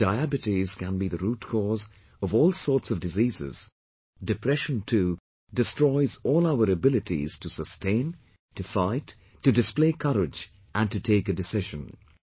Just as diabetes can be the root cause of all sorts of diseases, depression too, destroys all our abilities to sustain, to fight, to display courage and to take a decision